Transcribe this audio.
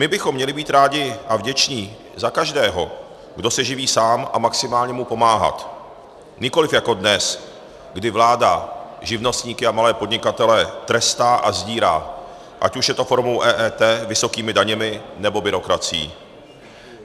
My bychom měli být rádi a vděční za každého, kdo se živí sám, a maximálně mu pomáhat, nikoliv jako dnes, kdy vláda živnostníky a malé podnikatele trestá a odírá, ať už je to formou EET, vysokými daněmi, nebo byrokracií.